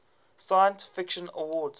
science fiction awards